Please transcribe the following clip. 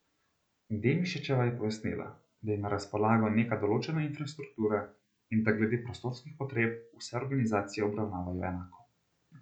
Demšičeva je pojasnila, da je na razpolago neka določena infrastruktura in da glede prostorskih potreb vse organizacije obravnavajo enako.